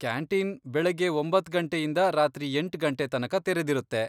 Canteen ಬೆಳಗ್ಗೆ ಒಂಬತ್ತ್ ಗಂಟೆಯಿಂದ ರಾತ್ರಿ ಎಂಟ್ ಗಂಟೆ ತನಕ ತೆರೆದಿರುತ್ತೆ.